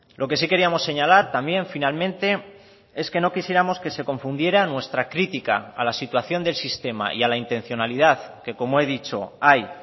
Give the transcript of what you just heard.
lo que sí queríamos señalar también finalmente es que no quisiéramos que se confundiera nuestra crítica a la situación del sistema y a la intencionalidad que como he dicho hay